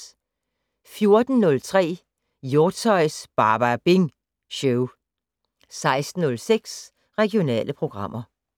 14:03: Hjortshøjs Badabing Show 16:06: Regionale programmer